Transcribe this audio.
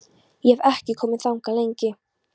Ég hef ekki komið þangað lengi.